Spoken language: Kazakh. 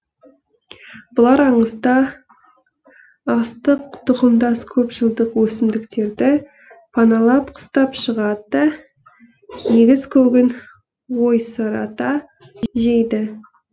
бұлар аңызда астық тұқымдас көп жылдық өсімдіктерді паналап қыстап шығады да егіс көгін ойсырата жейді